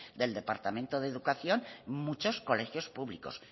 del departamento de educación muchos colegios públicos